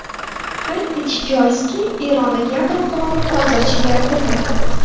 Qayd etish joizki, Eronda yadro quroli hozircha yaratilmagan.